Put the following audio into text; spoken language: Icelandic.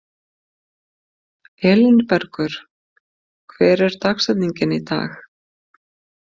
Elínbergur, hver er dagsetningin í dag?